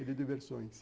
de diversões.